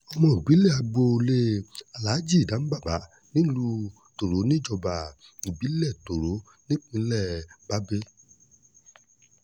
ọmọ ibilẹ agboolé aláàjì danbaba nílùú tòró níjọba ìbílẹ̀ tòró nípínlẹ̀ bábélì